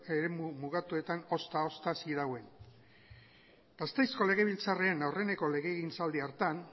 eremu mugatuetan ozta ozta zirauen gasteizko legebiltzarrean aurreneko legegintzaldi hartan